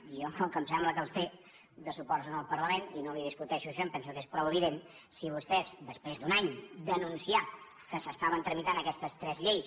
i jo com que em sembla que en té de suports en el parlament i no li discuteixo això em penso que és prou evident si vostès després d’un any d’anunciar que s’estaven tramitant aquestes tres lleis